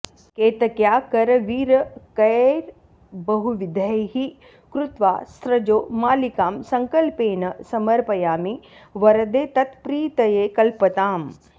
केतक्या करवीरकैर्बहुविधैः कृत्वा स्त्रजो मालिकां सङ्कल्पेन समर्पयामि वरदे त्वत्प्रीतये कल्पताम्